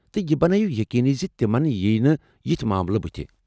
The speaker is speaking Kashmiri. تہٕ یہِ بنٲوِو یقینی زِ تِمن ییٚینہٕ یِتھۍ ماملہٕ بُتھہِ ۔